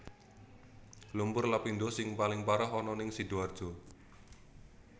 Lumpur Lapindosing paling parah ana ning Sidoarjo